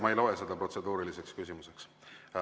Ma ei loe seda protseduuriliseks küsimuseks.